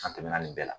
An tɛmɛnna nin bɛɛ la